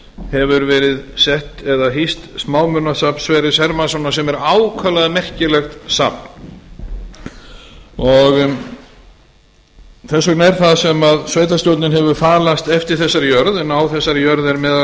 hefur verið hýst smámunasafn sverris hermannssonar sem er ákaflega merkilegt safn þess vegna er það sem sveitarstjórnin hefur falast eftir þessari jörð en á þessari jörð er meðal